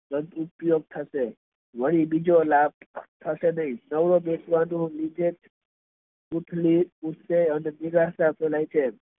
સદુપયોગ થશે વળી બીજો લાભ થશે નહિ નવરો બેસવાનો બીજેનિરાશા ફેલાય જાય